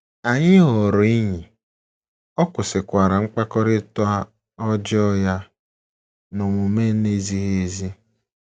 Anyị ghọrọ enyi, ọ kwụsịkwara mkpakọrịta ọjọọ ya na omume na - ezighị ezi. ”